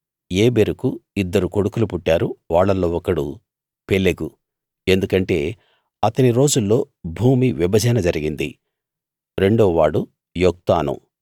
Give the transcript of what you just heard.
ఏబెరుకు ఇద్దరు కొడుకులు పుట్టారు వాళ్ళల్లో ఒకడు పెలెగు ఎందుకంటే అతని రోజుల్లో భూమి విభజన జరిగింది రెండవవాడు యొక్తాను